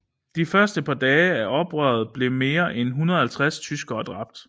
De første par dage af oprøret blev mere end 150 tyskere dræbt